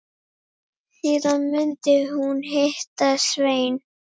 Síðan myndi hún hitta Svein.